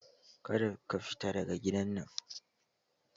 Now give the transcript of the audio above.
Kada ka fita daga gidan nan!